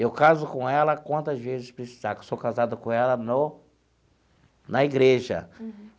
Eu caso com ela quantas vezes precisar, porque sou casado com ela no na igreja.